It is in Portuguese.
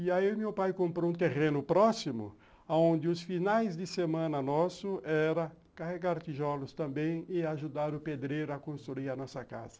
E aí meu pai comprou um terreno próximo, aonde os finais de semana nosso era carregar tijolos também e ajudar o pedreiro a construir a nossa casa.